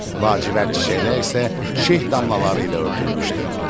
Lacivərd çiçəklər isə şeh damlaları ilə örtülmüşdü.